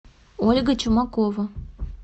ольга чумакова